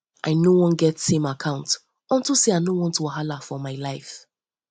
i no wan get same account get same account unto say i no wan wahala for my life